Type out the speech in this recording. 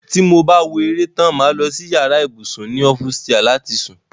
tí mo bá wo eré tán, mà á lọ sí yàrá ibùsùn ni ọ́fùsià láti sùn.